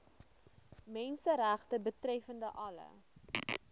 menseregte betreffende alle